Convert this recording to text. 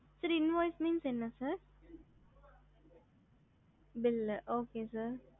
invoive ந invoice means bill